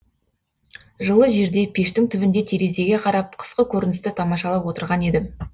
жылы жерде пештің түбінде терезеге қарап қысқы көріністі тамашалап отырған едім